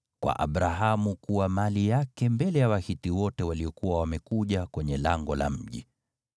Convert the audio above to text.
kwa Abrahamu kuwa mali yake mbele ya Wahiti wote waliokuwa wamekuja kwenye lango la mji.